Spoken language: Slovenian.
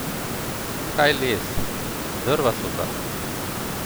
Kaj les, drva so zakon.